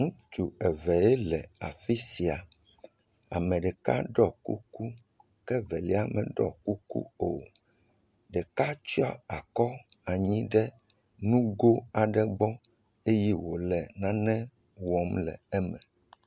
Ŋutsu evee le fi sia. Ame ɖeka ɖɔ kuku. Ke Evelia meɖɔ kuku o. Ɖeka tsyɔ akɔ ɖe nugo aɖe gbɔ eye wòle nane wɔm le eme.